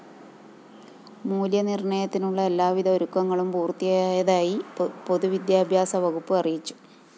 മൂല്യനിര്‍ണയത്തിനുള്ള എല്ലാവിധ ഒരുക്കങ്ങളും പൂര്‍ത്തിയായതായി പൊതുവിദ്യാഭ്യാസ വകുപ്പ് അറിയിച്ചു